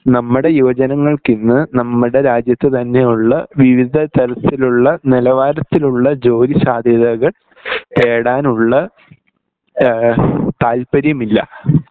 നമ്മുടെ യുവജനങ്ങൾക്കിന്ന് നമ്മുടെ രാജ്യത്ത് തന്നെയുള്ള വിവിധ തരത്തിലുള്ള നിലവാരത്തിലുള്ള ജോലി സാധ്യതകൾ തേടാനുള്ള ഏഹ് താല്പര്യമില്ല